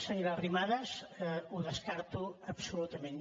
senyora arrimadas ho descarto absolutament